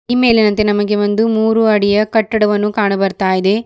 ಈ ಮೇಲಿನಂತೆ ನಮಗೆ ಒಂದು ಮೂರು ಅಡಿಯ ಕಟ್ಟಡವನ್ನು ಕಾಣು ಬರ್ತಾ ಇದೆ.